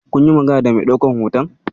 Kun yi magana da mai ɗaukan hoton?